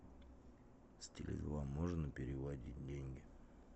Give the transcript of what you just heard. с теле два можно переводить деньги